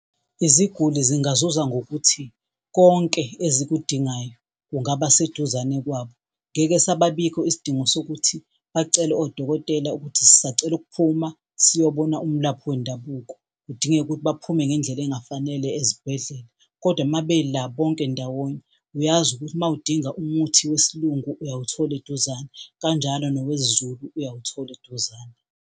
Iziguli zingazuza ngokuthi konke ezikudingayo kungaba seduzane kwabo. Ngeke sababikho isidingo sokuthi bacele odokotela ukuthi sisacela ukuphuma siyobona umlaphi wendabuko, kudingeke ukuthi baphume ngey'ndlela ezingafanele ezibhedlela. Kodwa uma bela bonke ndawonye uyazi ukuthi mawudinga umuthi wesiLungu uyawuthola eduzane, kanjalo nowesiZulu uyawuthola eduzane.